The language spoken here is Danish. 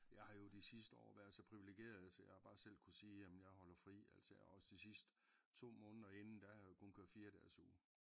Jeg har jo de sidste år været så privilegeret så jeg har bare selv kunne sige jamen jeg holder fri. Altså jeg har også de sidste 2 måneder inden der har jeg kun kørt 4 dages uge